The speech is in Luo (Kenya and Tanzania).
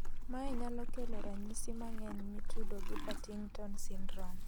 Mae nyalo kelo ranyisi mang'eny mitudo gi Partington syndrome